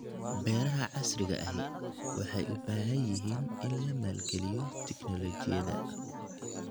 Beeraha casriga ahi waxay u baahan yihiin in la maalgeliyo tignoolajiyada.